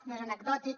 no és anecdòtic